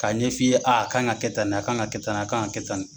K'a ɲɛ fɔ i ye aa a kan ka kɛ tan, a kan ka kɛ tan, a kan ka kɛ tan